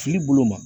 Fili bolo ma